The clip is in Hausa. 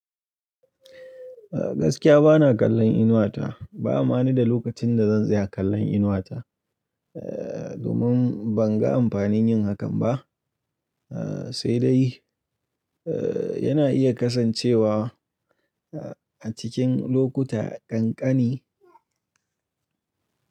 Gaskiya bana kallon Inuwa ta. Ba ma ni da lokacin da zan zai kallon Inuwa ta. Eh, domin ban ga amfanin yin hakan ba. Eh, sai dai, eh yana iya kasancewa a cikin lokuta kankani.